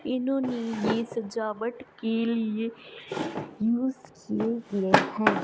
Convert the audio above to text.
इन्होंने ये सजावट के लिए यूज किए गए हैं।